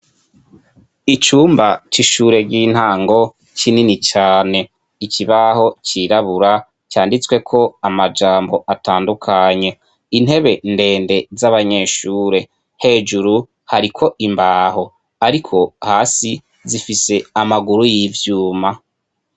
Icumba c'ishure ry'intango kinini cane. Ikibaho cirabura canditsweko amajambo atandukanye. Intebe ndende z'abanyeshure. Hejuru hariko imbaho ariko hasi, zifise amaguru y'ivyuma.